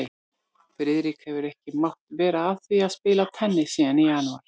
Friðrik hefur ekki mátt vera að því að spila tennis síðan í janúar